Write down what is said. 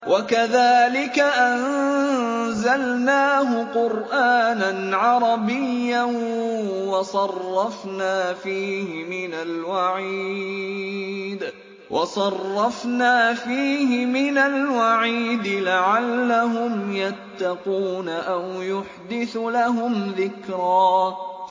وَكَذَٰلِكَ أَنزَلْنَاهُ قُرْآنًا عَرَبِيًّا وَصَرَّفْنَا فِيهِ مِنَ الْوَعِيدِ لَعَلَّهُمْ يَتَّقُونَ أَوْ يُحْدِثُ لَهُمْ ذِكْرًا